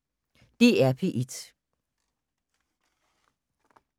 DR P1